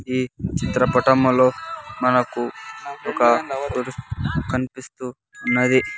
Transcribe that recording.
ఈ చిత్రపటములో మనకు ఒక కనిపిస్తూ ఉన్నది.